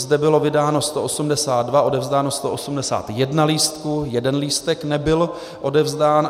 Zde bylo vydáno 182, odevzdáno 181 lístků, jeden lístek nebyl odevzdán.